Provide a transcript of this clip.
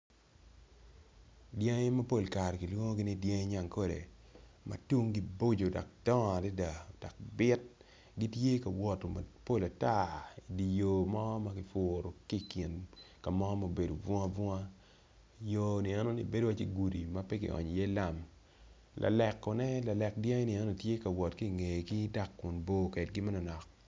Dyangi mapol kare gilwongi ni dyangi nyankole matunggi boco dok dongo adada bit gitye kawot kama pol ata iyo mo makiputo tye kin kamo ma obedo bungabunga yo enoni bedo wacci gudi mape ki onyo i ye lam laleko lalek dyangi ni tye ka wot ki ngegi dok kun bor kwedgi manonok.